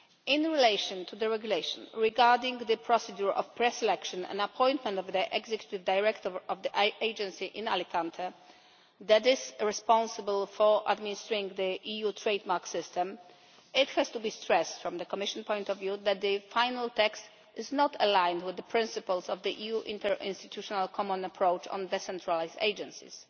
In relation to the regulation regarding the procedure of preselection and appointment of an executive director of the Agency in Alicante that is responsible for administering the EU trade mark system, it has to be stressed from the Commission's point of view that the final text is not aligned with the principles of the EU's interinstitutional common approach on decentralised agencies.